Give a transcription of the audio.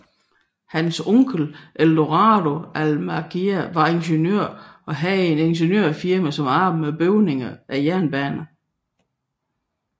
Hans onkel Edoardo Almagià var ingeniør og havde et ingeniørfirma som arbejdede med bygning af jernbaner